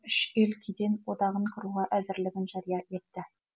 үш ел кеден одағын құруға әзірлігін жария етті